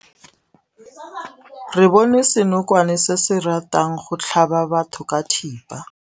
Re bone senokwane se se ratang go tlhaba batho ka thipa.